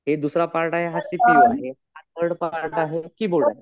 हे दुसरा पार्ट आहे हा सी पी यु आहे. थर्ड पार्ट आहे कीबोर्ड .